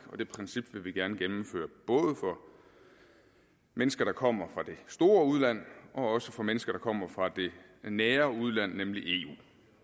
og det princip vil vi gerne gennemføre både for mennesker der kommer fra det store udland og for mennesker der kommer fra det nære udland nemlig eu